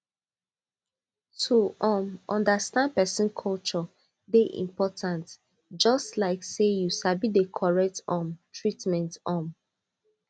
to um understand person culture dey important just like say you sabi the correct um treatment um